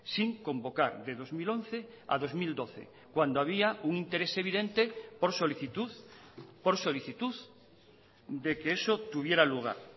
sin convocar de dos mil once a dos mil doce cuando había un interés evidente por solicitud por solicitud de que eso tuviera lugar